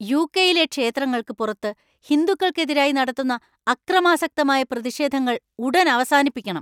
യു.കെ.യിലെ ക്ഷേത്രങ്ങൾക്ക് പുറത്തു ഹിന്ദുക്കൾക്കെതിരായി നടത്തുന്ന അക്രമാസക്തമായ പ്രതിഷേധങ്ങൾ ഉടൻ അവസാനിപ്പിക്കണം.